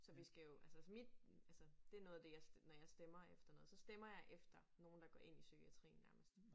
Så vi skal jo altså så mit altså det noget af det når jeg stemmer efter noget så stemmer jeg efter nogen der går ind i psykiatrien nærmest